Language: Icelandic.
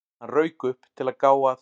Hann rauk upp, til að gá að